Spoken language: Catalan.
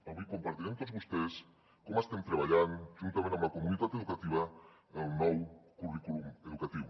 avui compartiré amb tots vostès com estem treballant juntament amb la comunitat educativa el nou currículum educatiu